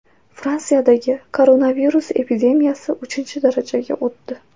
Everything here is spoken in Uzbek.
Fransiyadagi koronavirus epidemiyasi uchinchi darajaga o‘tdi.